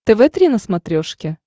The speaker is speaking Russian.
тв три на смотрешке